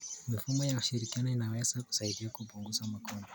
Mifumo ya ushirikiano inaweza kusaidia kupunguza magonjwa.